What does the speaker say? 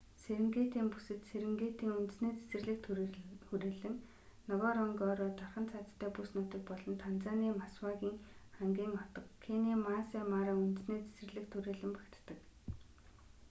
серингетийн бүсэд серингетийн үндэсний цэцэрлэгт хүрээлэн нгоронгоро дархан цаазтай бүс нутаг болон танзаны масвагын ангийн отго кенийн маасай мара үндэсний цэцэрлэгт хүрэээлэн багтдаг